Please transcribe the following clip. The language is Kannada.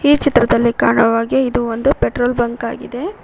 ಈ ಚಿತ್ರದಲ್ಲಿ ಕಾಣುವ ಹಾಗೆ ಇದು ಒಂದು ಪೆಟ್ರೋಲ್ ಬಂಕ್ ಆಗಿದೆ.